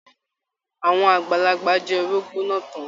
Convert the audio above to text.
Àwọn àgbàlagbà jẹ orógbó náà tán.